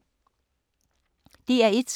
DR1